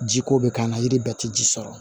Jiko bɛ k'an na yiri bɛɛ tɛ ji sɔrɔ